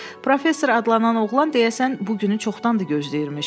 Professor adlanan oğlan deyəsən bu günü çoxdandır gözləyirmiş.